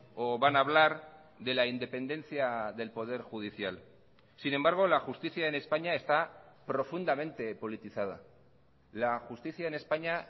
o van a hablar de la independencia del poder judicial sin embargo la justicia en españa está profundamente politizada la justicia en españa